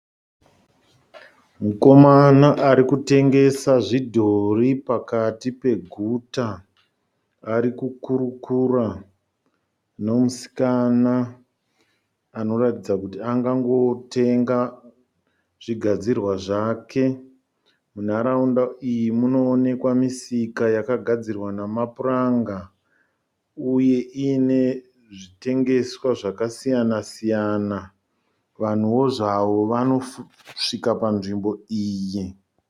Mukomana arikutengesa zvidhori pakati peguta, ari kukurukura nemusikana anoratidza kuti angangotenga zvigadzirwa zvake. Munharaunda iyi munoonekwa misika yakagadzirwa namapuranga uye iyine zvitengeswa zvakasiyana siyana, vanhuwo zvavo vanosvika panzvimbo iyi